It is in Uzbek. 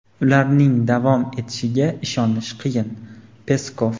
ularning davom etishiga ishonish qiyin – Peskov.